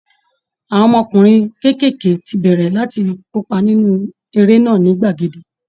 Àwọn ọmọkùnrin kéékèèké ti bẹ̀rẹ̀ láti kópa nínú eré náà ní gbàgede